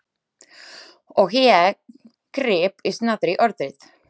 Og ég gríp í snatri orðið.